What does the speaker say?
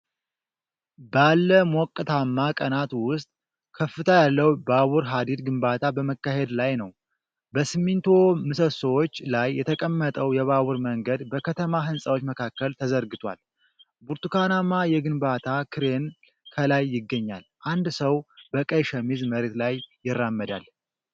ባለ ሞቃታማ ቀናት ውስጥ ከፍታ ያለው ባቡር ሐዲድ ግንባታ በመካሄድ ላይ ነው። በሲሚንቶ ምሰሶዎች ላይ የተቀመጠው የባቡር መንገድ በከተማ ሕንፃዎች መካከል ተዘርግቷል፤ ብርቱካናማ የግንባታ ክሬን ከላይ ይገኛል። አንድ ሰው በቀይ ሸሚዝ መሬት ላይ ይራመዳል።